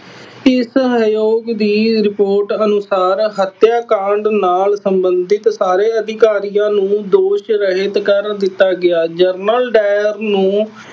ਇਸ ਆਯੋਗ ਦੀ ਰਿਪੋਰਟ ਅਨੁਸਾਰ ਹੱਤਿਆ ਕਾਂਡ ਨਾਲ ਸੰਬੰਧਿਤ ਸਾਰੇ ਅਧਿਕਾਰੀਆਂ ਨੂੰ ਦੋਸ਼ ਰਹਿਤ ਕਰ ਦਿੱਤਾ ਗਿਆ। ਜਨਰਲ ਡਾਇਰ ਨੂੰ